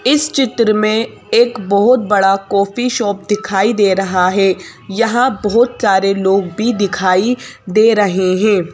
इस चित्र में एक बहुत बड़ा कॉफी शॉप दिखाई दे रहा है यहाँ बहुत सारे लोग भी दिखाई दे रहे हैं।